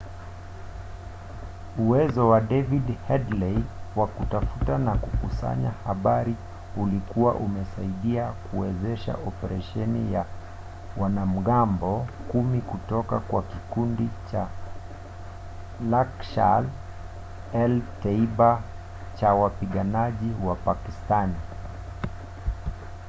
uwezo wa david headley wa kutafuta na kukusanya habari ulikuwa umesaidia kuwezesha operesheni ya wanamgambo 10 kutoka kwa kikundi cha laskhar-e-taiba cha wapiganaji wa pakistani